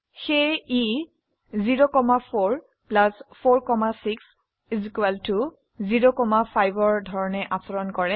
সেয়ে ই 0 4 4 6 0 5 ৰ ধৰনে আচৰণ কৰে